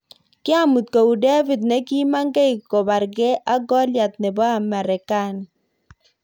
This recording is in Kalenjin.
Kiamuat kou David nikimangei kobargei ak Goliat nebo Marekani.